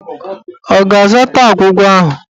Ọ ga-azata agwụgwa ahụ?